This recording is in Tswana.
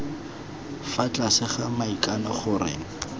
fa tlase ga maikano gore